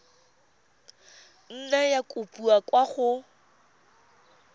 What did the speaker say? nna ya kopiwa kwa go